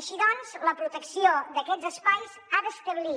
així doncs la protecció d’aquests espais ha d’establir